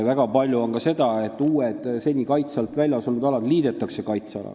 Väga palju on ka seda, et uued, seni kaitse alt välja jäänud alad liidetakse kaitsealaga.